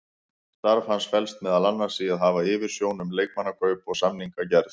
Starf hans felst meðal annars í að hafa yfirsjón um leikmannakaup og samningagerð.